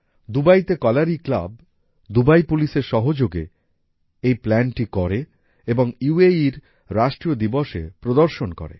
দুবাইতে Kalari club Dubai পুলিশের সহযোগে এই প্ল্যানটি করে এবং UAEর রাষ্ট্রীয় দিবসে প্রদর্শন করে